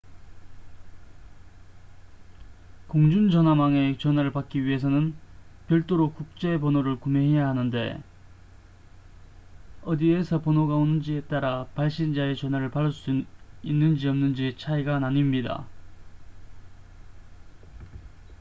공중전화망의 전화를 받기 위해서는 별도로 국제 번호를 구매해야 하는데 어디에서 번호가 오는지에 따라 발신자의 전화를 받을 수 있는지 없는지의 차이가 나뉩니다